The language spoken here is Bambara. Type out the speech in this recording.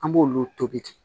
An b'olu tobi